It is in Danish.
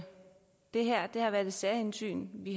det her har været et særhensyn det